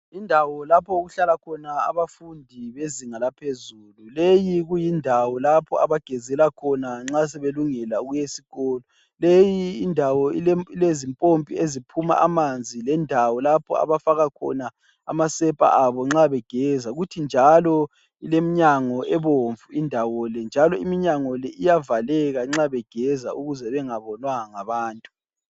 Indawo lapho okuhlalakhona abafundi bezinga laphezulu. Leyi kuyindawo lapho abagezela khona nxa sebelungela ukuya esikolo. Leyi ndawo ilezimpompi eziphuma amanzi lendawo lapho abafaka khona amasepa abo nxa begeza. Kuthi njalo ileminyango ebomvu indawo le. Njalo iminyango leyi iyavaleka nxa begeza ukuze bengabonwa ngabantu.